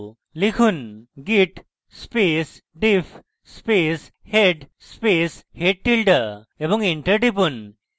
লিখুন: git space diff space head space head tilde এবং enter টিপুন